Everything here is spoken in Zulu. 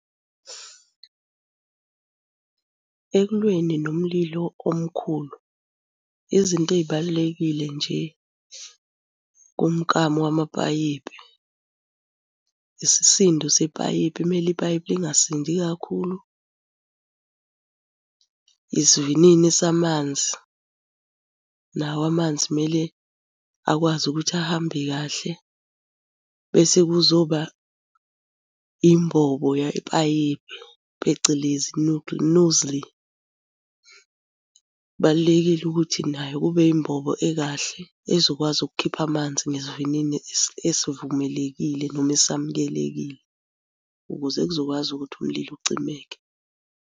Ekulweni nomlilo omkhulu, izinto ey'balulekile nje umkamo wamapayipi, isisindo sepayipi, kumele ipayipi lingasindi kakhulu. Isivinini samanzi, nawo amanzi mele akwazi ukuthi ahambe kahle. Bese kuzoba imbobo yepayipi, phecelezi nozzle. Kubalulekile ukuthi nayo kube yimbobo ekahle ezokwazi ukukhipha amanzi ngesivinini esivumelekile noma esamukelekile ukuze kuzokwazi ukuthi umlilo ucimeke.